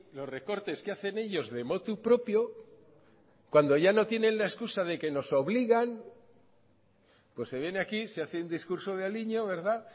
los recortes que hacen ellos de motu propio cuando ya no tienen la excusa de que nos obligan pues se viene aquí se hace un discurso de aliño verdad